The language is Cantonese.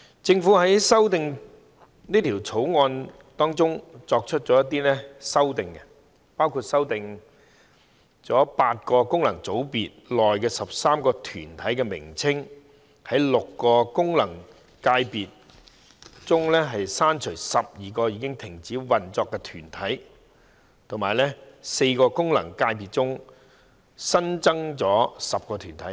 政府在《條例草案》中作出一些修訂，包括修訂8個功能界別中13個團體的名稱，在6個功能界別中刪除12個已停止運作的團體，以及在4個功能界別中新增10個團體。